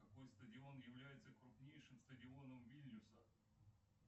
какой стадион является крупнейшим стадионом вильнюса